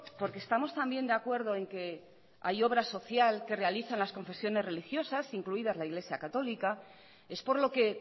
porque estamos también de acuerdo en que hay obra social que realizan las confesiones religiosas incluida la iglesia católica es por lo que